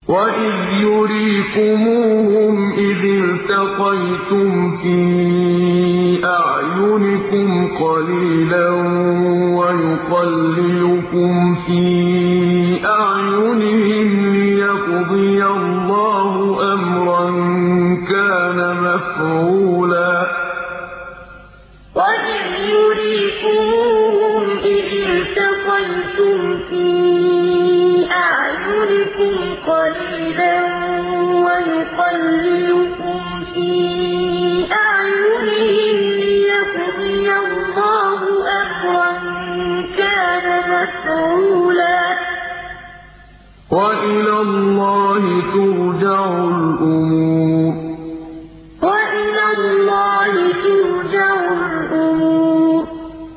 وَإِذْ يُرِيكُمُوهُمْ إِذِ الْتَقَيْتُمْ فِي أَعْيُنِكُمْ قَلِيلًا وَيُقَلِّلُكُمْ فِي أَعْيُنِهِمْ لِيَقْضِيَ اللَّهُ أَمْرًا كَانَ مَفْعُولًا ۗ وَإِلَى اللَّهِ تُرْجَعُ الْأُمُورُ وَإِذْ يُرِيكُمُوهُمْ إِذِ الْتَقَيْتُمْ فِي أَعْيُنِكُمْ قَلِيلًا وَيُقَلِّلُكُمْ فِي أَعْيُنِهِمْ لِيَقْضِيَ اللَّهُ أَمْرًا كَانَ مَفْعُولًا ۗ وَإِلَى اللَّهِ تُرْجَعُ الْأُمُورُ